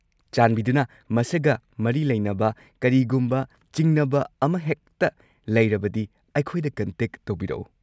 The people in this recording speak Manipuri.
ꯆꯥꯟꯕꯤꯗꯨꯅ ꯃꯁꯤꯒ ꯃꯔꯤ ꯂꯩꯅꯕ ꯀꯔꯤꯒꯨꯝꯕ ꯆꯤꯡꯅꯕ ꯑꯃꯍꯦꯛꯇ ꯂꯩꯔꯕꯗꯤ ꯑꯩꯈꯣꯏꯗ ꯀꯟꯇꯦꯛ ꯇꯧꯕꯤꯔꯛꯎ꯫